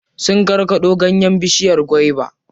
Sun karkaɗo ganyen bishiyar gwaiba.